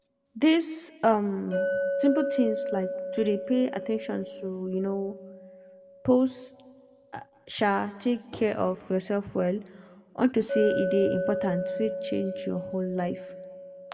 this um simple tins like to dey pay at ten tion to um pause um take care of yourself well unto say e dey important fit change your whole life